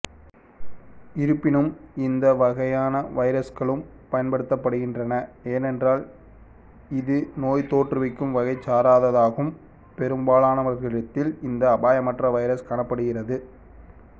இருப்பினும் இந்த வகையான வைரஸ்களும் பயன்படுத்தப்படுகின்றன ஏனென்றால் இது நோய் தோற்றுவிக்கும் வகைசாராததாகும் பெரும்பாலானவர்களிடத்தில் இந்த அபாயமற்ற வைரஸ் காணப்படுகிறது